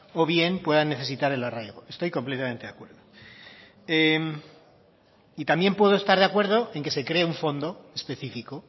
o bien puedan necesitar el arraigo estoy completamente de acuerdo y también puedo estar de acuerdo en que se cree un fondo específico